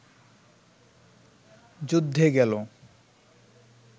যুদ্ধে গেল